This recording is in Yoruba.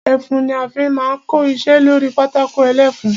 Ẹfun ni a fi máa ń kọ iṣẹ́ lórí pátákó ẹlẹ́fun.